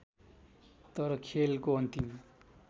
तर खेलको अन्तिम